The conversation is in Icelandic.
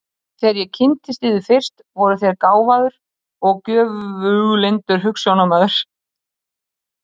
Þegar ég kynntist yður fyrst, voruð þér gáfaður og göfuglyndur hugsjónamaður.